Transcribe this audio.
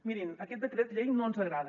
mirin aquest decret llei no ens agrada